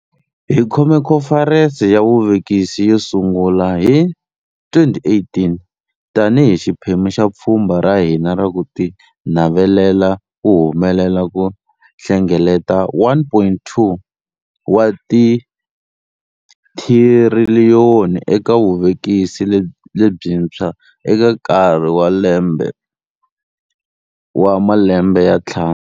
Hi khome Khomferense ya Vuvekisi yo sungula hi 2018 tanihi xiphemu xa pfhumba ra hina ra ku tinavelela ku humelela ku hlengeleta R1.2 wa tithiriliyoni eka vuvekisi lebyintshwa eka nkarhi wa malembe ya ntlhanu.